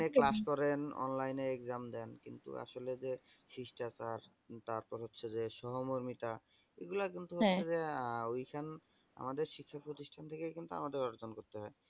online class করেন online exam দেন কিন্তু আসলে যে সিষ্ঠাচার তারপর হচ্ছে যে সহমর্মিতা এগুলা একদম তো হচ্ছে যে ওই সব আমাদের শিক্ষা প্রতিষ্ঠান থেকে কিন্তু আমাদের অর্জন করতে হয় ।